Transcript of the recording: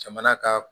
Jamana ka